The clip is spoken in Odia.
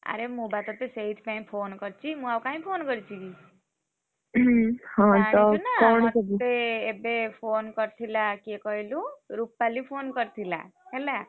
ଆର ମୁଁ ବା ତତେ ସେଇଥି ପାଇଁ phone କରିଛି ମୁଁ ଆଉ କାଇଁ phone କରିଛି କି! ଜାଣିଛୁ ନା ମତେ ଏବେ phone କରିଥିଲା କିଏ କହିଲୁ? ରୂପାଲି phone କରିଥିଲା, ହେଲା?